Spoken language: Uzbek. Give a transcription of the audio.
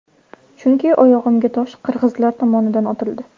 Chunki oyog‘imga tosh qirg‘izlar tomondan otildi.